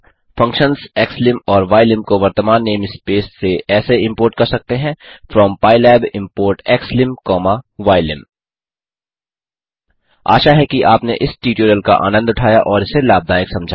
functions xlim और ylim को वर्तमान नेम स्पेस से ऐसे इम्पोर्ट कर सकते हैं from pylab import xlim comma ylim आशा है कि आपने इस ट्यूटोरियल का आनन्द उठाया और इसे लाभदायक समझा